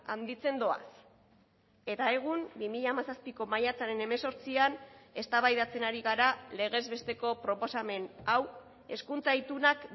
handitzen doaz eta egun bi mila hamazazpiko maiatzaren hemezortzian eztabaidatzen ari gara legez besteko proposamen hau hezkuntza itunak